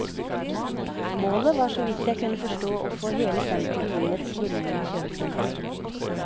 Målet var så vidt jeg kunne forstå å få hele sentrum inn i ett svulmende kjøpesenter.